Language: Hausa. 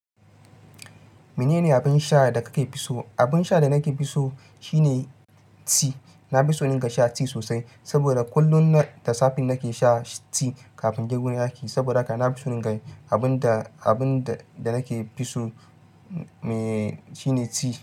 Menene abin sha da ka ke fi so? Abin sha da nake fi so shine ti. Na fi so irin ga sha ti sosai, saboda kullum da safe nake sha ti kafin in je gurin aiki. Saboda haka na fi so. Abin da, abin da nake fi so, mee, shi ne ti.